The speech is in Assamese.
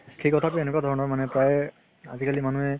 সেই কথাতো এনেকুৱা ধৰণে প্ৰায় আজিকালি মানুহে